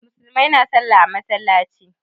Musulmai na sallah a masallaci.